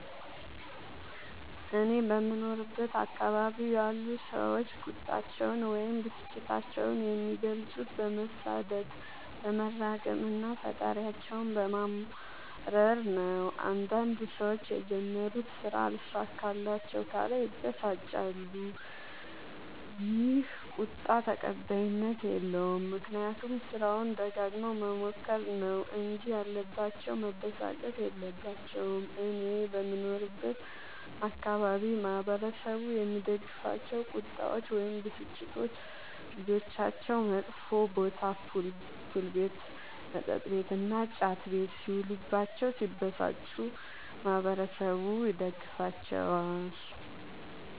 እኔ በምኖርበት አካባቢ ያሉ ሠዎች ቁጣቸዉን ወይም ብስጭታቸዉን የሚገልፁት በመሣደብ በመራገም እና ፈጣሪያቸዉን በማማረር ነዉ። አንዳንድ ሠዎች የጀመሩት ስራ አልሣካላቸዉ ካለ ይበሳጫሉ ይ። ይህ ቁጣ ተቀባይኀት የለዉም። ምክንያቱም ስራዉን ደጋግመዉ መሞከር ነዉ እንጂ ያለባቸዉ መበሳጨት የለባቸዉም። እኔ በምኖርበት አካባቢ ማህበረሰቡ የሚደግፋቸዉ ቁጣዎች ወይም ብስጭቶች ልጆቻቸዉ መጥፌ ቦታ[ፑል ቤት መጥ ቤት እና ጫት ቤት ]ሢዉሉባቸዉ ቢበሳጩ ማህበረሠቡ ይደግፋቸዋል።